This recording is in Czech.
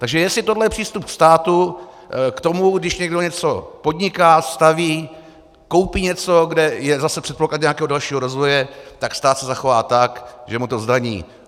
Takže jestli tohle je přístup státu k tomu, když někdo něco podniká, staví, koupí něco, kde je zase předpoklad nějakého dalšího rozvoje, tak stát se zachová tak, že mu to zdaní.